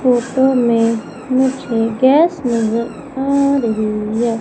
Photo में मुझे gas नजर आ रही है।